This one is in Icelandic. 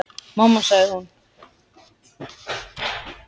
Mamma sagði hún.